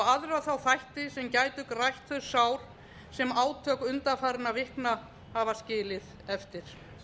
aðra þá þætti sem gætu grætt þau sár sem átök undanfarinna vikna hafa skilið eftir